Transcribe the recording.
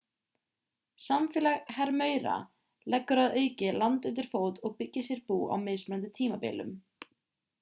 samfélag hermaura leggur að auki land undir fót og byggir sér bú á mismunandi tímabilum